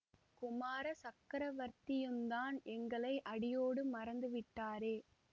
குமார சக்கரவர்த்தியுந்தான் எங்களை அடியோடு மறந்து விட்டாரே